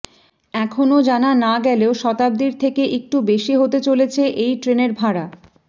এখনও জানা না গেলেও শতাব্দীর থেকে একটু বেশি হতে চলেছে এই ট্রেনের ভাড়া